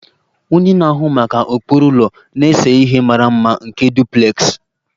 Onye na-ahụ maka ụkpụrụ ụlọ na-ese ihe mara mma nke duplex